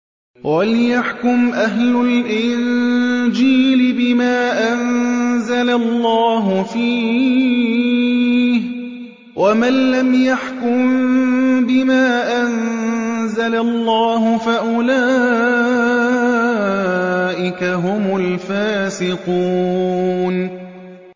وَلْيَحْكُمْ أَهْلُ الْإِنجِيلِ بِمَا أَنزَلَ اللَّهُ فِيهِ ۚ وَمَن لَّمْ يَحْكُم بِمَا أَنزَلَ اللَّهُ فَأُولَٰئِكَ هُمُ الْفَاسِقُونَ